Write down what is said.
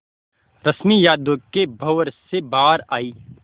रश्मि यादों के भंवर से बाहर आई